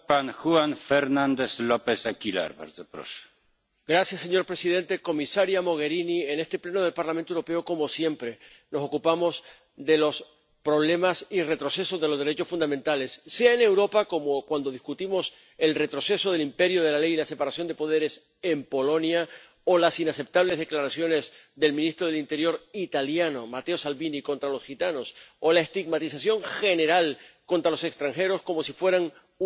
Señor presidente, señora Mogherini, en este Pleno del Parlamento Europeo, como siempre, nos ocupamos de los problemas y retrocesos de los derechos fundamentales, sea en Europa, como cuando discutimos el retroceso del imperio de la ley y la separación de poderes en Polonia o las inaceptables declaraciones del ministro del Interior italiano, Matteo Salvini, contra los gitanos o la estigmatización general contra los extranjeros, como si fueran una amenaza contra nuestra seguridad, cuando, en realidad, muchos de ellos huyen del terror.